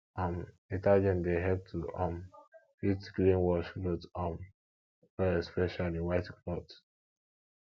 um detergent dey help to um fit clean wash cloth um well especially white cloth